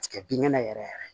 Tigɛ binkɛnɛ yɛrɛ yɛrɛ